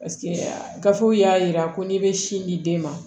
gafew y'a yira ko n'i bɛ sin di den ma